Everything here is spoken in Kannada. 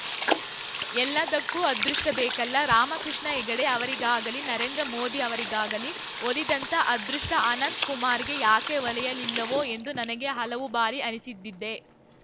ಎಲ್ಲದಕ್ಕೂ ಅದೃಷ್ಟಬೇಕಲ್ಲ ರಾಮಕೃಷ್ಣ ಹೆಗಡೆ ಅವರಿಗಾಗಲೀ ನರೇಂದ್ರ ಮೋದಿ ಅವರಿಗಾಗಲೀ ಒಲಿದಂಥ ಅದೃಷ್ಟಅನಂತ ಕುಮಾರ್‌ಗೆ ಯಾಕೆ ಒಲಿಯಲಿಲ್ಲವೋ ಎಂದು ನನಗೆ ಹಲವು ಬಾರಿ ಅನಿಸಿದ್ದಿದೆ